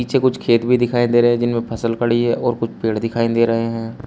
पीछे कुछ खेत भी दिखाई दे रहे जिनमें फसल खड़ी है और कुछ पेड़ दिखाई दे रहे हैं।